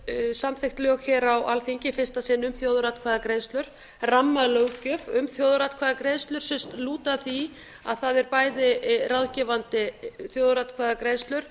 voru samþykkt lög hér á alþingi í fyrsta sinn um þjóðaratkvæðagreiðslur rammalöggjöf um þjóðaratkvæðagreiðslur sem lúta að því að það eru bæði ráðgefandi þjóðaratkvæðagreiðslur